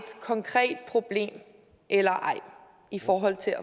konkret problem eller ej i forhold til at